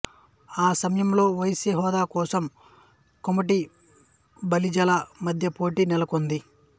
ఈ సమయంలో వైశ్య హోదా కోసం కోమటి బలిజల మధ్య పోటీ నెలకొంది